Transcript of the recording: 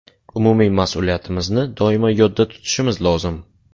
Umumiy mas’uliyatimizni doimo yodda tutishimiz lozim.